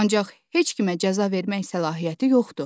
Ancaq heç kimə cəza vermək səlahiyyəti yoxdur.